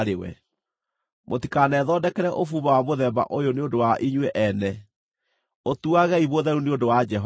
Mũtikanethondekere ũbumba wa mũthemba ũyũ nĩ ũndũ wa inyuĩ ene; ũtuagei mũtheru nĩ ũndũ wa Jehova.